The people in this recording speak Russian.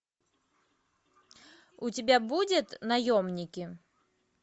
у тебя будет наемники